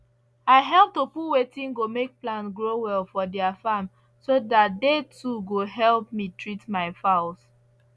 i help to put wetin go make plant grow well for their farm so that they too go help me treat my fowls